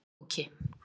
Flóki